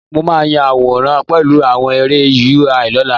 Mo máa ya àwòrán pẹ̀lú àwọn ère UI lọ́la